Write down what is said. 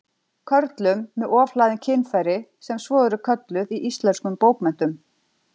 Körlum með ofhlaðin kynfæri, sem svo eru kölluð í íslenskum bókmenntum.